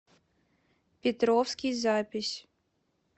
петровский запись